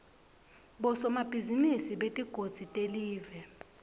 bosomabhizinisi betigodzi telive